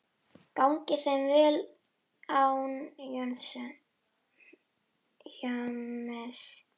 Gangi þeim vel án James.